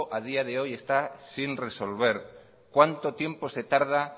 a día de hoy está sin resolver cuánto tiempo se tarda